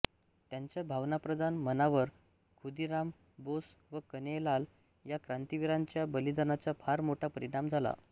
त्यांच्या भावनाप्रधान मनावर खुदिराम बोस व कन्हैयालाल या क्रांतिवीरांच्या बलिदानाचा फार मोठा परिणाम झाला